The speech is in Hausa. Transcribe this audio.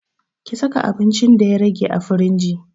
Ki saka abincin da ya rage a firingi